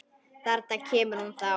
Þarna kemur hún þá!